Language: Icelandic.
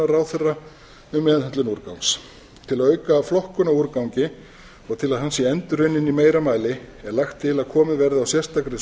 landsáætlunar ráðherra um meðhöndlun úrgangs til að auka flokkun á úrgangi og til að hann sé endurunninn í meira mæli er lagt til að komið verði á sérstakri